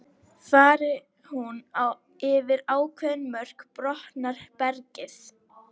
Fari hún yfir ákveðin mörk brotnar bergið.